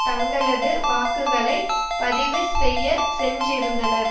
தங்களது வாக்குகளை பதிவு செய்ய சென்றிருந்தனர்